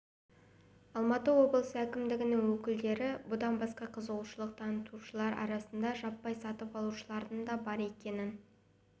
алматы облысы әкімдігінің өкілдері бұдан басқа қызығушылық танытушылар арасында жаппай сатып алушылардың да бар екенін